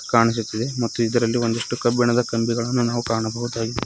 ಕಾಣಿಸುತ್ತದೆ ಮತ್ತು ಇದರಲ್ಲಿ ಒಂದಿಷ್ಟು ಕಬ್ಬಿಣದ ಕಂಬಿಗಳನ್ನು ನಾವು ಕಾಣಬಹುದಾಗಿ--